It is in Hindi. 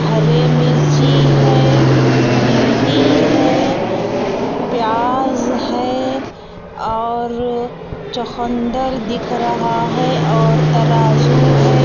हरे मिर्ची है भेंडी है प्याज है और चोखंदर दिख रहा है और तराज़ू है.